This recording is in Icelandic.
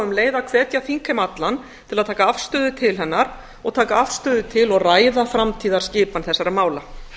um leið að hvetja þingheim allan til að taka afstöðu til hennar og taka afstöðu til og ræða framtíðarskipan þessar mála